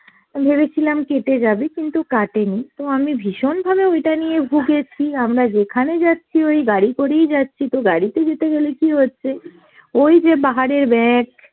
আমি ভেবেছিলাম কেটে যাবে কিন্তু কাটেনি, তো আমি ভীষণভাবে ওইটা নিয়ে ভুগেছি, আমরা যেখানে যাচ্ছি ওই গাড়ি করি যাচ্ছি তো গাড়িতে যেতে গেলে কি হচ্ছে ওই যে পাহাড়ের back